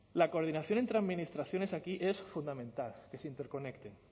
la coordinación entre administraciones aquí es fundamental que se interconecte